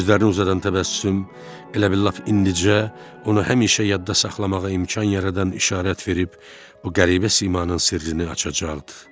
Sözlərini uzadan təbəssüm elə bil lap indicə onu həmişə yadda saxlamağa imkan yaradan işarət verib bu qəribə simanın sirrini açacaqdır.